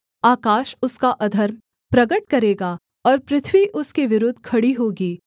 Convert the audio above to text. आकाश उसका अधर्म प्रगट करेगा और पृथ्वी उसके विरुद्ध खड़ी होगी